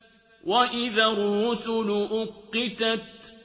وَإِذَا الرُّسُلُ أُقِّتَتْ